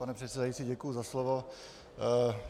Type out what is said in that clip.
Pane předsedající, děkuji za slovo.